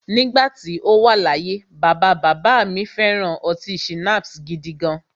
Nígbà tí o wà láyé, bàbá bàbá à mi fẹ̀ran ọtí schnapps gidigan.